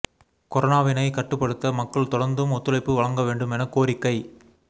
கொரோனாவினை கட்டுப்படுத்த மக்கள் தொடர்ந்தும் ஒத்துழைப்பு வழங்க வேண்டும் என கோரிக்கை